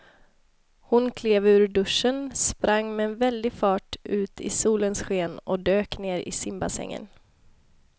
Hon klev ur duschen, sprang med väldig fart ut i solens sken och dök ner i simbassängen.